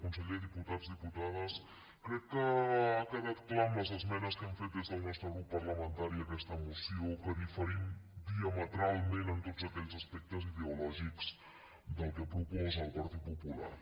conseller diputats diputades crec que ha quedat clar amb les esmenes que hem fet des del nostre grup parlamentari a aquesta moció que diferim diametralment en tots aquells aspectes ideològics del que proposa el partit popular